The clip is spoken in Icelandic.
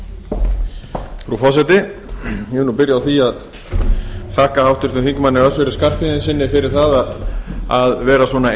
frú forseti ég vil nú byrja á því að þakka háttvirtum þingmanni össuri skarphéðinssyni fyrir að vera svona